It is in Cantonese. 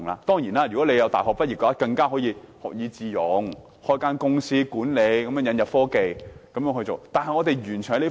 當然，如果他們是大學畢業生，大可學以致用，開設一間管理公司，引入科技來經營。